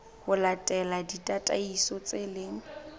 ho latela ditataiso tse leng